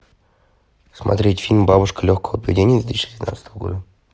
смотреть фильм бабушка легкого поведения две тысячи девятнадцатого года